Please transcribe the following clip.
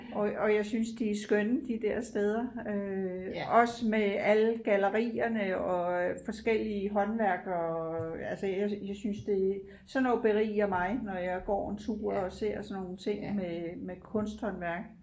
Og og jeg synes de er skønne de der steder øh også med alle gallerierne og forskellige håndværkere og altså jeg jeg synes det er sådan noget beriger mig når jeg går en tur og ser sådan nogle ting med med kunsthåndværk